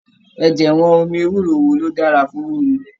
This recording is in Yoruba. Ẹjẹwọn omi ewúro wo lo dára fún mímú.